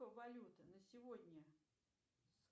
валюты на сегодня